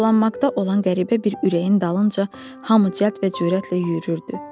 Alovlanmaqda olan qəribə bir ürəyin dalınca hamı cəld və cürətlə yüyrürdü.